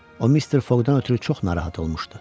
O Mister Foqdan ötrü çox narahat olmuşdu.